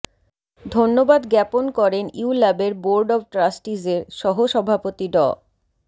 ধন্যবাদ জ্ঞাপন করেন ইউল্যাবের বোর্ড অব ট্রাস্টিজের সহসভাপতি ড